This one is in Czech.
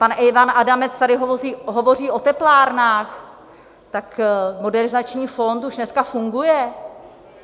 Pan Ivan Adamec tady hovoří o teplárnách, tak Modernizační fond už dneska funguje.